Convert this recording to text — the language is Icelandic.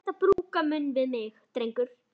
Vertu ekki að brúka munn við mig, drengur!